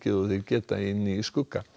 og þeir geta inni í skugga